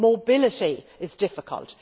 Mobility was difficult.